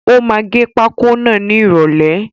Ó máa gẹ pákó náà ni ìròlẹ́.